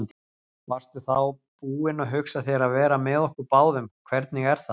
Varstu þá búin að hugsa þér að vera með okkur báðum, hvernig er það?